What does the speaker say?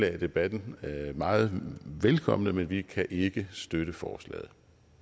i la debatten meget velkommen men vi kan ikke støtte forslaget